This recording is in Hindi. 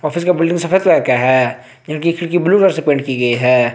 ऑफिस का बिल्डिंग सफेद कलर का है इनकी खिड़की ब्लू कलर से पेंट की गई है।